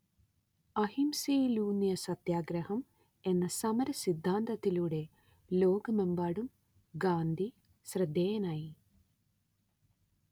അഹിംസയിലൂന്നിയ സത്യാഗ്രഹം എന്ന സമര സിദ്ധാന്തത്തിലൂടെ ലോകമെമ്പാടും ഗാന്ധി ശ്രദ്ധേയനായി